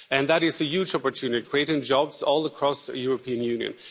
That is a huge opportunity, creating jobs all across the European Union.